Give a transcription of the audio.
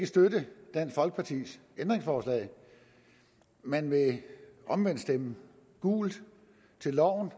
støtte dansk folkepartis ændringsforslag man vil omvendt stemme gult til loven